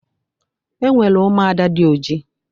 E nwere ụmụnwaanyị dị oji